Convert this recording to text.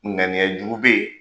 Ŋaniyajugu bɛ yen.